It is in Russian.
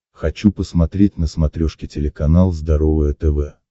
хочу посмотреть на смотрешке телеканал здоровое тв